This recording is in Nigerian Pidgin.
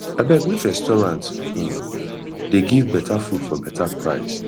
abeg which restaurant um dey give beta food for beta price